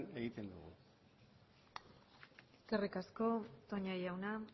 egiten dugu eskerrik asko toña jauna